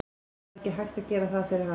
Það var ekkert hægt að gera fyrir hana.